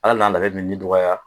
Ala na ale mini ji dɔgɔya.